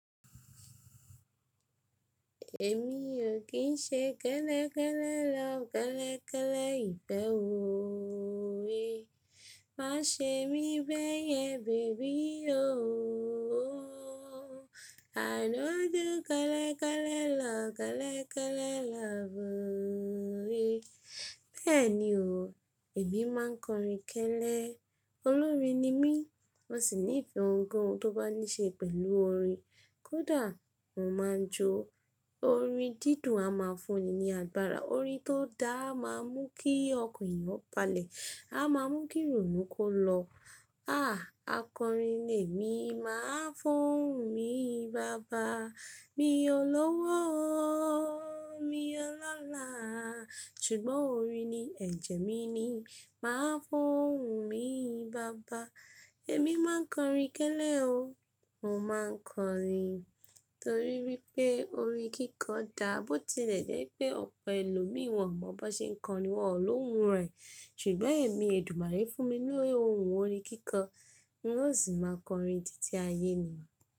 Èmi o kì n ṣe kẹ́lẹ́ kẹ́lẹ́ love kẹ́lẹ́ kẹ́lẹ́ ìfẹ́ ooo eh. Má ṣe mí bẹ́yẹn baby ooo. I no do kẹ́lẹ́ kẹ́lẹ́ love kẹ́lẹ́ kẹ́lẹ́ love ooo eh. Bẹ́ẹ̀ni o, èmi máa ń kọrin kẹ́lẹ́. Olórin ni mí, mo sì ní'fẹ́ ohun kohun tó bá ní ṣe pẹ̀lú orin. Kódà, mo máa ń jó. Orin dídùn a máa ń fún ni ní agbára. Orin tó da a máa ń mú kí ọkan eeyan ọ̀ balẹ̀, a máa mú kí ìrònú kó lọ. Ah akọrin ni èmi, màá fún ni bàbá. Mi o lówó o, mi o lọ́la, ṣùgbọ́n orin ni ẹ̀jẹ̀ mi ni. Màá fún mi bàbá. Èmi máa ń kọrin kẹ́lẹ́ o, mo máa ń kọrin. Torí pé orin kíkọ dáa, bó tilẹ̀ jẹ́ wipé ọ̀pọ̀ ẹlòmíì wọ́n ò mọ bọ ṣe ń kọrin, wọ́n ò lóhùn rẹ̀. Ṣùgbọ́n èmi, èdùmarè fún mi ní ohùn orin kíkọ. Hun ó sì máa kọrin títí ayé ni.